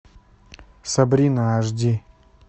сабрина аш ди